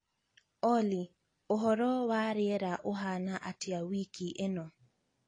olly ūhoro wa riera ūhana atia wiki īno